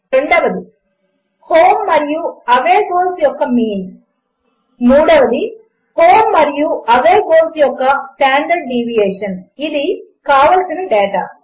4 home మరియు away goals యొక్క mean 7 home మరియు అవే గోల్స్ యొక్క స్టాండర్డ్ డీవియేషన్ ఇది కావలసిన డేటా